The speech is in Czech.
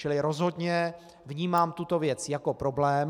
Čili rozhodně vnímám tuto věc jako problém.